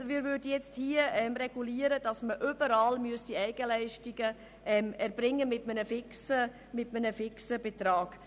Wir würden hier nun regeln, dass man überall Eigenleistungen mit einem fixen Betrag erbringen müsste.